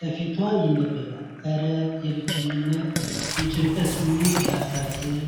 ከፊቷ ይነበባል። እረ! የብቸኝነትና የጭንቀት ስሜት ሲያሳዝን!